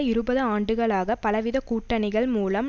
இருபது ஆண்டுகளாக பலவித கூட்டணிகள் மூலம்